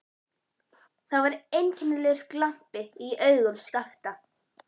Það var einkennilegur glampi í augum Skapta.